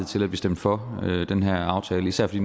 til at stemme for den her aftale især fordi